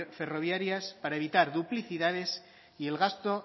ferroviarias para evitar duplicidades y el gasto